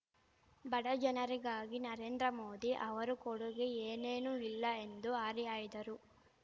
ಬಡ ಜನರಿಗಾಗಿ ನರೇಂದ್ರ ಮೋದಿ ಅವರ ಕೊಡುಗೆ ಏನೇನೂ ಇಲ್ಲ ಎಂದು ಹರಿಹಾಯ್ದರು